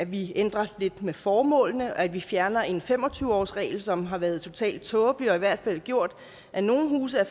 vi ændrer lidt ved formålene at vi fjerner en fem og tyve årsregel som har været totalt tåbelig og som i hvert fald har gjort at nogle huse er